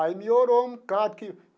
Aí melhorou um bocado que.